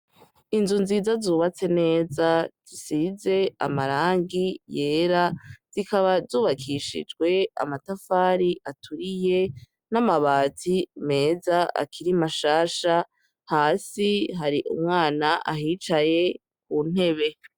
Inzu nziza, zubatse neza, zisize amarangi yera, zikaba zubakishijwe amatafari aturiye n'amabati meza akiri mashasha. Hasi hari umwana ahicaye ku ntebe.